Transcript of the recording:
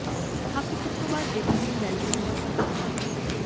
hockey cup ਤੋ ਬਾਦ ਜੇਤੂ ਟੀਮ ਬੈਲਜੀਅਮ ਦਾ ਭਰਵਾ ਸਵਾਗਤ